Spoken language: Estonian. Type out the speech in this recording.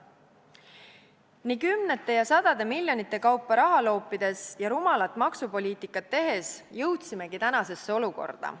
Nii kümnete ja sadade miljonite kaupa raha loopides ja rumalat maksupoliitikat tehes jõudsimegi tänasesse olukorda.